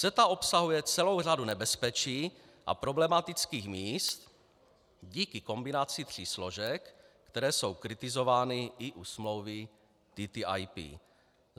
CETA obsahuje celou řadu nebezpečí a problematických míst díky kombinaci tří složek, které jsou kritizovány i u smlouvy TTIP.